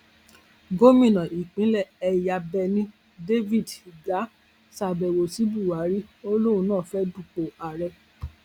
gomina ìpínlẹ ẹyábẹni david ugari ṣàbẹwò sí buhari ó lóun náà fẹẹ dúpọ ààrẹ